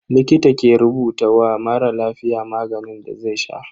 Likita ke rubuta wa mara lafiya maganin da zai sha.